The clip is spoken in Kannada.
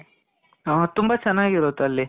ಹಾ ತುಂಬ ಚೆನಾಗಿರುತ್ತೆ ಅಲ್ಲಿ.